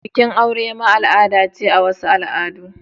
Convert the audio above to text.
Bikin aure ma al'ada ce a wasu al'adu.